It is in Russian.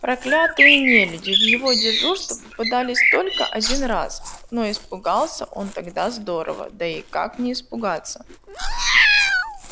проклятые нелюди в его дежурства попадались только один раз но испугался он тогда здорово да и как не испугаться